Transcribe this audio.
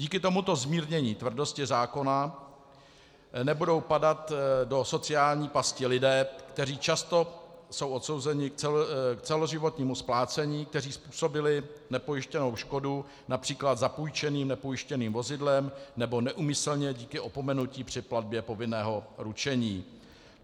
Díky tomuto zmírnění tvrdosti zákona nebudou padat do sociální pasti lidé, kteří často jsou odsouzeni k celoživotnímu splácení, kteří způsobili nepojištěnou škodu například zapůjčeným nepojištěným vozidlem nebo neúmyslně díky opomenutí při platbě povinného ručení.